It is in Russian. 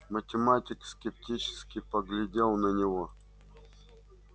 математик скептически поглядел на него